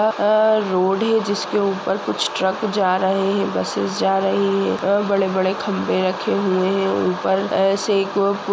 यह एक रोड है जिसके ऊपर कुछ ट्रक जा रहे हैं बसे जा रही हैं और बड़े-बड़े खंभे रखे हुए हैं ऊपर से एक --